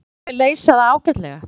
Mér fannst við leysa það ágætlega.